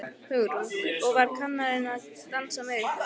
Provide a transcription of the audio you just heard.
Hugrún: Og var kennarinn að dansa með ykkur?